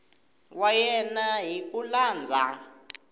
wa yena hi ku landza